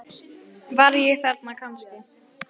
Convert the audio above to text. Var ég þarna kannski?